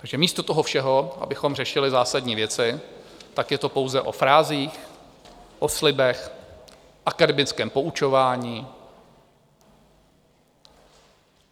Takže místo toho všeho, abychom řešili zásadní věci, tak je to pouze o frázích, o slibech, akademickém poučování.